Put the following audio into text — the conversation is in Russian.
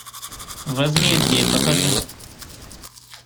возмездие покажи